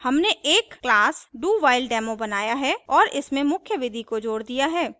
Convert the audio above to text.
हमने एक class dowhiledemo बनाया है और इसमें मुख्य विधि को जोड़ दिया है